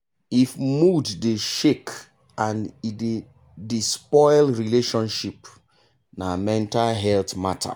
if mood dey shake and e dey dey spoil relationship na mental health matter.